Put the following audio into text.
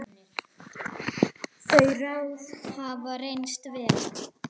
Þau ráð hafa reynst vel.